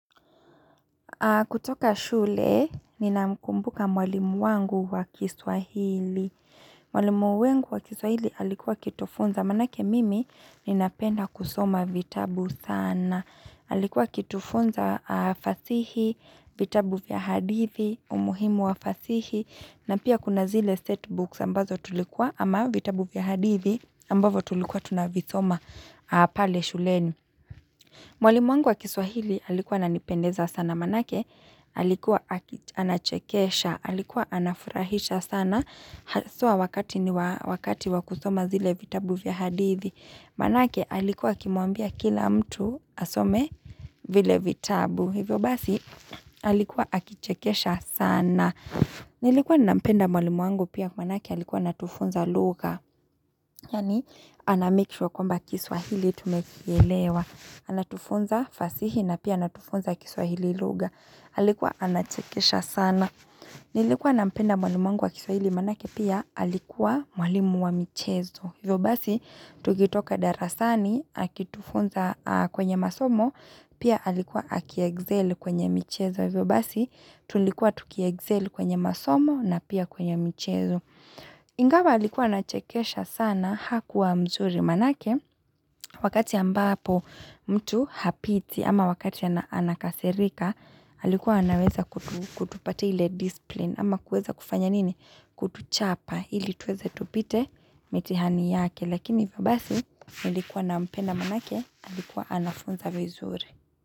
Kutoka shule, ninamkumbuka mwalimu wangu wa kiswahili. Mwalimu wangu wa kiswahili alikuwa akitufunza, maanake mimi ninapenda kusoma vitabu sana. Alikuwa akitufunza fasihi, vitabu vya hadithi, umuhimu wa fasihi, na pia kuna zile setbooks ambazo tulikuwa ama vitabu vya hadithi ambavyo tulikuwa tunavisoma pale shuleni. Mwalimu wangu wa kiswahili alikuwa ananipendeza sana, maanake alikuwa anachekesha, alikuwa anafurahisha sana, haswa wakati ni wakati wa kusoma zile vitabu vya hadithi, manake alikuwa kimuambia kila mtu asome vile vitabu. Hivyo basi alikuwa akichekesha sana Nilikuwa nampenda mwalimu wangu pia maanake alikuwa anatufunza lugha Yani ana make sure kwamba kiswahili tumekielewa Anatufunza fasihi na pia anatufunza kiswahili luga Halikuwa anachekesha sana Nilikuwa nampenda mwalimu wangu wa kiswahili maanake pia alikuwa mwalimu wa michezo Hivyo basi tukitoka darasani akitufunza kwenye masomo Pia alikuwa aki excel kwenye michezo vyo basi tulikuwa tukia excel kwenye masomo na pia kwenye michezo. Ingawa alikuwa anachekesha sana hakuwa mzuri maanake wakati ambapo mtu hapiti ama wakati anakasirika alikuwa anaweza kutupati ile discipline ama kueza kufanya nini kutuchapa ili tuweze tupite mitihani yake. Lakini hivyo basi nilikuwa nampenda maanake alikuwa anafunza vyo zuri.